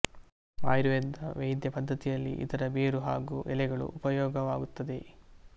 ಆಯುರ್ವೇದ ವೈದ್ಯ ಪದ್ದತಿಯಲ್ಲಿ ಇದರ ಬೇರು ಹಾಗೂ ಎಲೆಗಳು ಉಪಯೋಗವಾಗುತ್ತದೆ